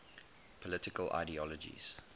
political ideologies